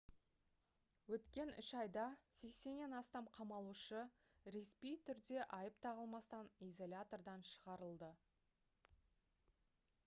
өткен 3 айда 80-нен астам қамалушы ресми түрде айып тағылмастан изолятордан шығарылды